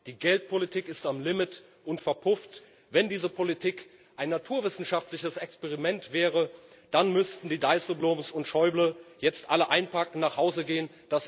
Die Geldpolitik ist am Limit und verpufft. Wenn diese Politik ein naturwissenschaftliches Experiment wäre, dann müssten die Dijsselbloens und Schäubles jetzt alle einpacken und nach Hause gehen.